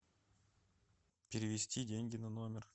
перевести деньги на номер